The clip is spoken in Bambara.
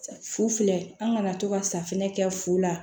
Fu filɛ an kana to ka safinɛ kɛ fu la